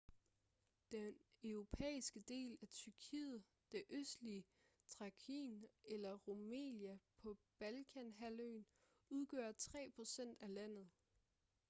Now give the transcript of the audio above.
den europæiske del af tyrkiet det østlige thrakien eller rumelia på balkanhalvøen udgør 3% af landet